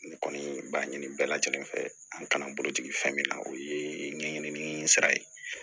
N kɔni b'a ɲini bɛɛ lajɛlen fɛ an kana bolojigin fɛn min na o ye ɲɛɲinini sira ye